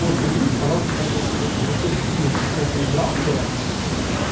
вот перейдите пожалуйста по этой ссылке если ты кинешь ссылку из браузера